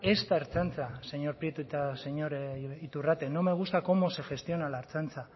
esta ertzaintza señor prieto eta señor iturrate no me gusta cómo se gestiona la ertzaintza